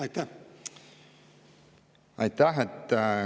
Aitäh!